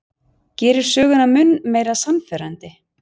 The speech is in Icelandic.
Gerir söguna mun meira sannfærandi.